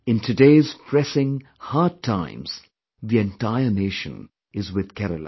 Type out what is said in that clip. In today's pressing, hard times, the entire Nation is with Kerala